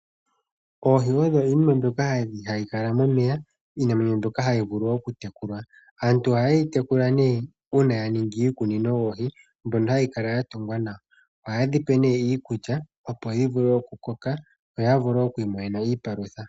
Oohi oyo iinima mbyoka hayi kala momeya iinamwenyo mbyoka hayi vulu oku tekulwa. Aantu ohaye dhi tekula uuna ya ningi iikunino yoohi mbyono hayi kala ya tungwa nawa ohaye dhipe iikulya opo dhi vule okukoka yo ya vule oku imonena iipalutha.